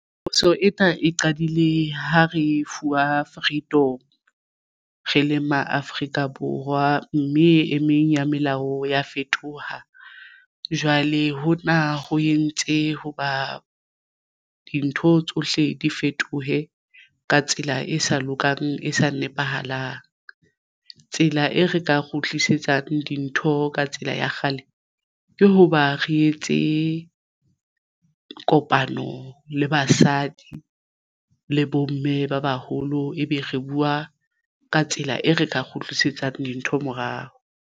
Phoso ena e qadile ha re fuwa freedom re le ma Afrika Borwa mme e meng ya melao ya fetoha jwale ho na ho entse hoba dintho tsohle di fetohe ka tsela e sa lokang e sa nepahalang. Tsela e re ka kgutlisetsang dintho ka tsela ya kgale ke hoba re etse kopano le basadi le bomme ba baholo ebe re buwa ka tsela e re ka kgutlisetsang dintho morao.